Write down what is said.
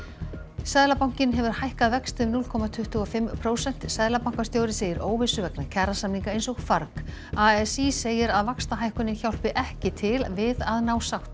seðlabankinn hefur hækkað vexti um núll komma tuttugu og fimm prósent seðlabankastjóri segir óvissu vegna kjarasamninga eins og farg a s í segir að vaxtahækkunin hjálpi ekki til við að ná sátt